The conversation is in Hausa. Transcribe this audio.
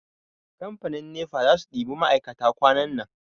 Kamfanin nefa za su ɗiba ma'aikata kwanan nan.